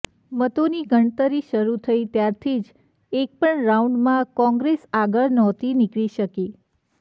મતોની ગણતરી શરૂ થઈ ત્યારથી જ એકપણ રાઉન્ડમાં કોંગ્રેસ આગળ નહોતી નીકળી શકી